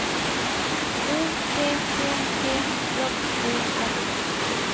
O P P G J Ø R